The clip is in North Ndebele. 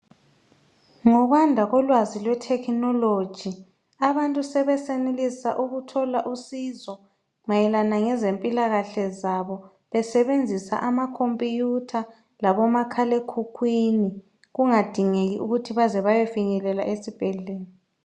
Ngokwanda kolwazi lwe"technology" abantu sebesenelisa ukuthola usizo mayelana ngezempilakahle zabo besebenzisa amakhompiyutha labo makhalekhukhwini kungadingeki ukuthi baze bayefinyelela esibhedlela.